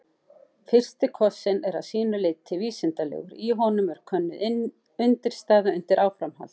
Fyrsti kossinn er að sínu leyti vísindalegur, í honum er könnuð undirstaða undir áframhald.